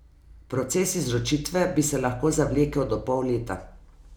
Proces izročitve bi se lahko zavlekel do pol leta.